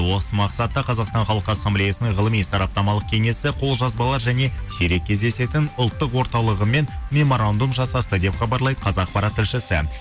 осы мақсатта қазақстан халық ассамблеясының ғылыми сараптамалық кеңесі қолжазбалар және сирек кездесетін ұлттық орталығымен меморандум жасасты деп хабарлайды қазақпарат тілшісі